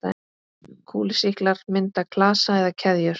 Kúlusýklar mynda klasa eða keðjur.